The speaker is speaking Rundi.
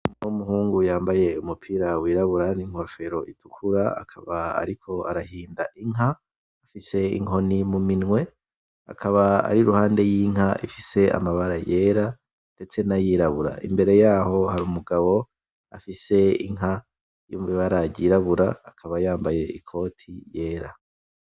Hariho umuhungu yambaye umupira wirabura ninkofero itukura akaba ariko arahinda inka, afise inkoni muminwe. Akaba ari iruhande yinka ifise amabara yera ndetse nayirabura imbere yaho hari umugabo afise inka irimwo ibara yirabura akaba yambaye ikoti yera.